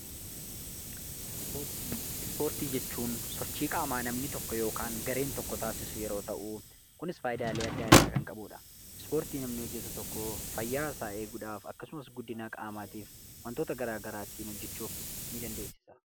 Ispoortii jechuun sochii qaamaa namni tokko yookiin gareen tokko taasisu yeroo ta'u, kunis faayidaalee adda addaa kan qabudha. Ispoortiii namni hojjetu tokko fayyaa isaa eeguudhaaf akkasumas guddina qaamaatif wantoota garagaraa ittiin hojjechu dandeessisa.